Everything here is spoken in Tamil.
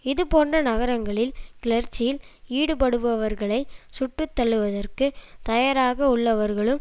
இதுபோன்ற நகரங்களில் கிளர்ச்சியில் ஈடுபடுபவர்களை சுட்டுத்தள்ளுவதற்கு தயாராக உள்ளவர்களும்